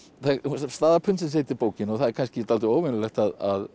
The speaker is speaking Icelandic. staða pundsins heitir bókin og það er kannski dálítið óvenjulegt að